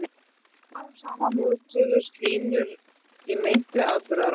Smám saman mótuðust línur í meintri atburðarás.